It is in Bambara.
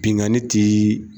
Binkani tɛ